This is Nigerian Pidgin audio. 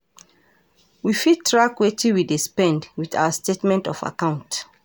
we fit track wetin we dey spend with our statement of account